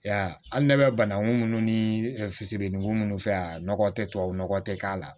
Ya hali ne bɛ bananku minnu ni fisidenninko minnu fɛ yan nɔgɔ tɛ tubabu nɔgɔ tɛ k'a la